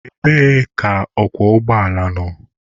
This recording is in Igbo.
Ebee ka ọkwọ ụgbọala nọ?